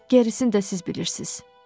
Gerisini də siz bilirsiz.